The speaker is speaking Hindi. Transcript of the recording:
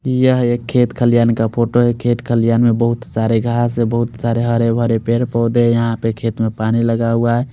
यहाँ एक खेत खलियान का फोटो है खेत खलियान में बोहोत सारे घास है बोहोत सारे हरे भरे पेड़ पोधे है यहाँ पर खेत में पानी लगा हुआ है।